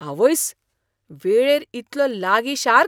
आवयस्स, वेळेर इतलो लागीं शार्क?